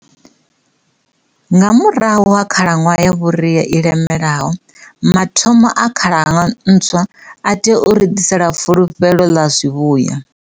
Nga murahu ha khalaṅwaha ya vhu ria i lemelaho, mathomo a khalaṅwaha ntswa a tea u ri ḓisela fulufhelo ḽa zwivhuya.